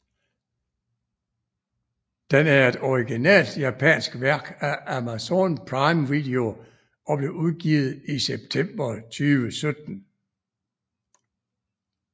Den er et originalt japansk værk af Amazon Prime Video og blev udgivet i september 2017